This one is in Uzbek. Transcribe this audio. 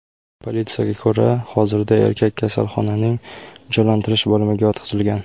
Politsiyaga ko‘ra, hozirda erkak kasalxonaning jonlantirish bo‘limiga yotqizilgan.